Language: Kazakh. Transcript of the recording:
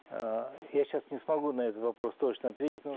ы я сейчас не смогу на этот вопрос точно ответить